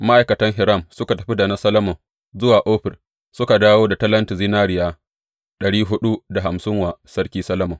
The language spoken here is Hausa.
Ma’aikatan Hiram suka tafi da na Solomon zuwa Ofir suka dawo da talentin zinariya ɗari huɗu da hamsin wa Sarki Solomon.